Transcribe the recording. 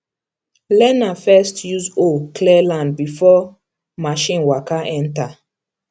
learner first use hoe clear land before machine waka enter